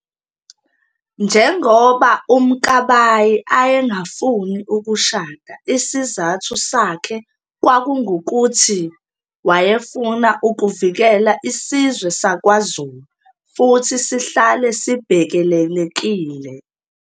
Njongoba uMkabayi ayengafuni ukushada isizathu sakhe kwakunguthi wayefuna ukuvikela isizwe sakwaZulu futhi sihlale sibhekelelekile.